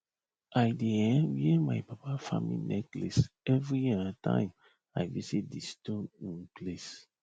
i dey um wear my papa farming necklace every um time i visit di stone um place